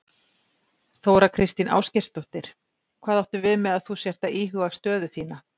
Þóra Kristín Ásgeirsdóttir: Hvað áttu við með að þú sért að íhuga stöðu þína?